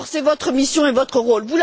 Or, c'est votre mission et votre rôle.